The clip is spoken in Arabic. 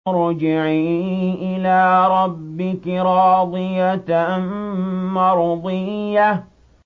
ارْجِعِي إِلَىٰ رَبِّكِ رَاضِيَةً مَّرْضِيَّةً